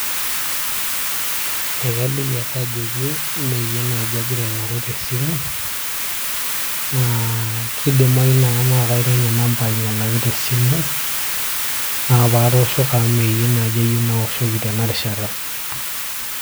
Ekaliki ake ajoki meeyie naaji agira aing'oru tesimu naa kidimayu naa kaironya namba ainyialaki te simu naa paatoshoko amu mee yie naaji ayieu naoshoki tena rishata.